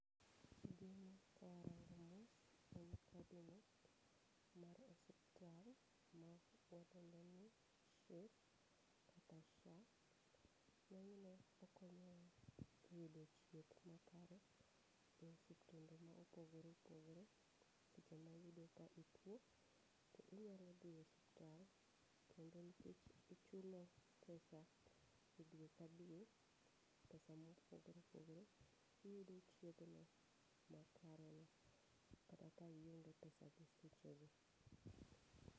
not audible